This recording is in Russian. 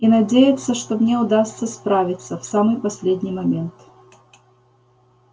и надеяться что мне удастся справиться в самый последний момент